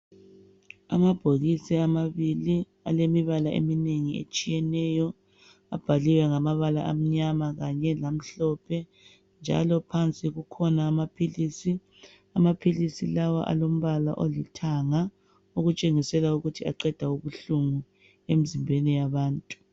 amabhokisi amabili alemibala eminengi etshiyeneyo abhaliwe ngamabala amnyama kanye lamhlophe njalo phansi kukhona amaphilisi amaphilisi lawa alombala olithanga okutshengisela ukuthi aqeda ubuhlungu emzimbeni yabantu